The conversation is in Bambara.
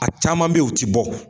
A caman be ye u ti bɔ.